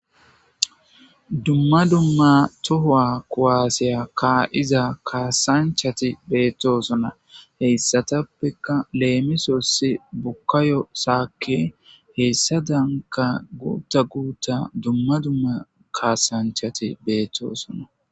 Dumma dumma tohowa kuwaaseya kaa'iza kaasanchati beettoosona heyssatappekka leemisossi bukkayo saakke heyssa danka guutta guutta dumma dumma kaasanchati beettoosona.